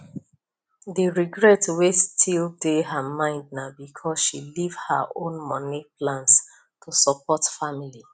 the regret wey still dey her mind na because she leave her own money plans to support family